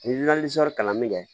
Ni kalanni kɛ